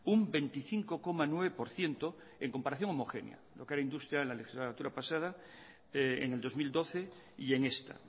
un veinticinco coma nueve por ciento en comparación homogénea lo que era industria la legislatura pasada en el dos mil doce y en esta